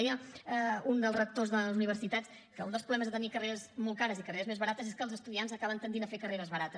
deia un dels rectors de les universitats que un dels problemes de tenir carreres molt cares i carreres més barates és que els estudiants acaben tendint a fer carreres barates